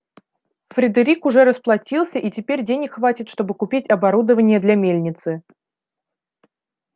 фредерик уже расплатился и теперь денег хватит чтобы купить оборудование для мельницы